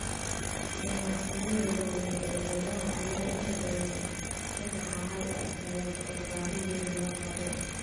Ganacsiyada waaweyn ee beeraha ayaa inta badan ka baxa hal dalag oo baahi weyn loo qabo.